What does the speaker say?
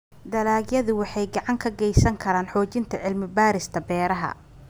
Dalagyadu waxay gacan ka geysan karaan xoojinta cilmi-baarista beeraha.